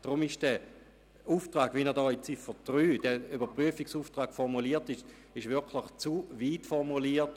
Deshalb ist dieser Auftrag unter Ziffer 3 zu weit formuliert.